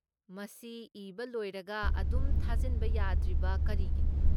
ꯃꯁꯤ ꯏꯕ ꯂꯣꯏꯔꯒ ꯑꯗꯨꯝ ꯊꯥꯖꯤꯟꯕ ꯌꯥꯗ꯭ꯔꯤꯕ ꯀꯔꯤꯒꯤꯅꯣ?